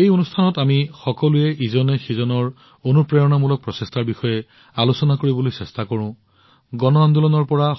এই কাৰ্যসূচীত আমি সকলোৱে ইজনে সিজনৰ অনুপ্ৰেৰণামূলক প্ৰচেষ্টাৰ বিষয়ে আলোচনা কৰিবলৈ চেষ্টা কৰোঁ সমগ্ৰ দেশক গণ আন্দোলনৰ পৰা